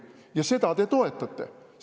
Ja seda te toetate!